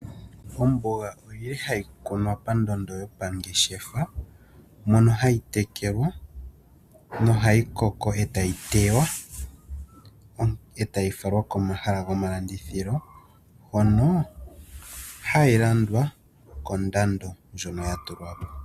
Omboga oyili hayi kunwa pandondo yopangeshefa , mono hayi tekelwa nohayi koko, etayi tewa , etayi falwa komahala gomalandithilo hono hayi landwa kondando ndjono yatulwapo.